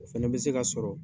O fɛnɛ bɛ se ka sɔrɔ